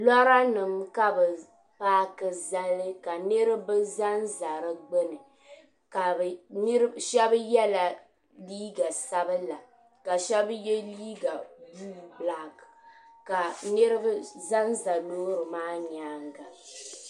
lɔranima ka bɛ paaki zali ka niriba za n-za di gbuni shaba yela liiga sabila ka shaba ye liiga buluu bilaaki ka niriba za n-za loori maa nyaanga